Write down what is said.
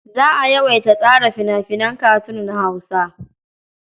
Za a yawaita tsara fina-finan katun na Hausa.